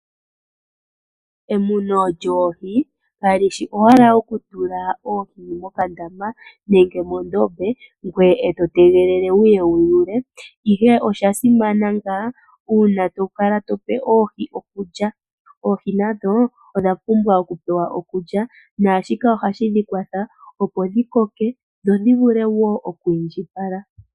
Emuno lyoohi kalishi owala okutula oohi mokandama nenge moondombe ngoye eto tegelele wuye wuyuule, ihe oshasimana ngaa uuna tokala tope oohi okulya. Oohi nadho odha pumbwa okupewa okulya, naashika ohadhi dhikwatha opo dhikoke, dho dhivule wo okwiindjipala.